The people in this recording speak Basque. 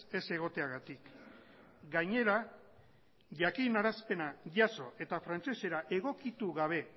ez egoteagatik gainera jakinarazpena jaso eta frantsesera egokitu gabe